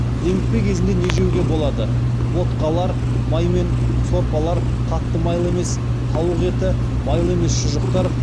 демікпе кезінде не жеуге болады ботқалар маймен сорпалар қатты майлы емес тауық еті майлы емес шұжықтар